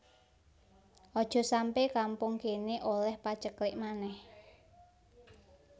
Ojok sampe kampung kene oleh paceklik maneh